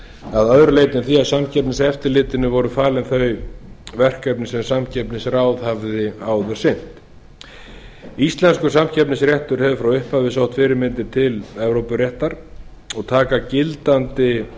að öðru leyti en því að samkeppniseftirlitinu voru falin þau verkefni sem samkeppnisráð hafði áður sinnt íslenskur samkeppnisréttur hefur frá upphafi sótt fyrirmyndir til evrópuréttar og taka gildandi